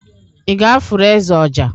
i gāfụru eze ọjà?